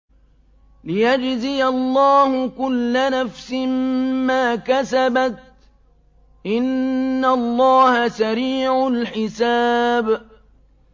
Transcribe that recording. لِيَجْزِيَ اللَّهُ كُلَّ نَفْسٍ مَّا كَسَبَتْ ۚ إِنَّ اللَّهَ سَرِيعُ الْحِسَابِ